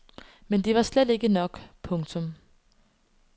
Men det var slet ikke nok. punktum